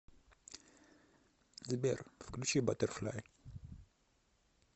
сбер включи баттерфляй